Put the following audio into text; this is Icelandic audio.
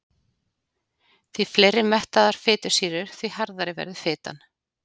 Því fleiri mettaðar fitusýrur því harðari verður fitan.